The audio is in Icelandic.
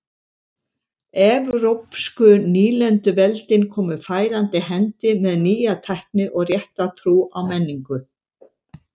Evrópsku nýlenduveldin komu færandi hendi með nýja tækni og rétta trú og menningu.